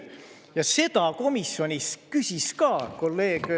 Ja seda komisjonis küsis ka kolleeg.